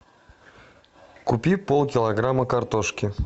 купи пол килограмма картошки